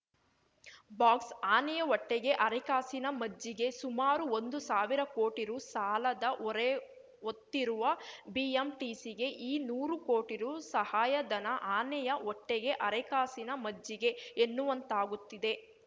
box ಆನೆಯ ಹೊಟ್ಟೆಗೆ ಅರೆಕಾಸಿನ ಮಜ್ಜಿಗೆ ಸುಮಾರು ಒಂದು ಸಾವಿರ ಕೋಟಿ ರು ಸಾಲದ ಹೊರೆಹೊತ್ತಿರುವ ಬಿಎಂಟಿಸಿಗೆ ಈ ನೂರು ಕೋಟಿ ರು ಸಹಾಯಧನ ಆನೆಯ ಹೊಟ್ಟೆಗೆ ಅರೆಕಾಸಿನ ಮಜ್ಜಿಗೆ ಎನ್ನುವಂತಾಗುತ್ತಿದೆ